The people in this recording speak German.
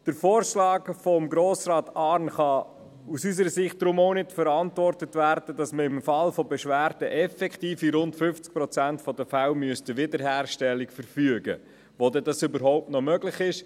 Der Vorschlag von Grossrat Arn kann aus unserer Sicht auch deshalb nicht verantwortet werden, weil im Fall von Beschwerden effektiv in rund 50 Prozent der Fälle eine Wiederherstellung verfügt werden müsste – wo dies überhaupt noch möglich wäre.